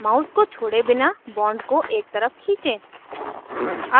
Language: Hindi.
mouse को छोड़े बिना bond को एक तरफ खींचें